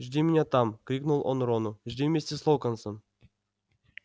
жди меня там крикнул он рону жди вместе с локонсом